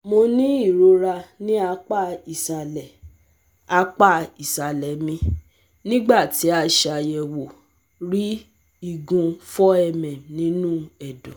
Mo ni irora ni apa isalẹ apa isalẹ mi, nigbati a ṣayẹwo rii igun four mm ninu ẹdọ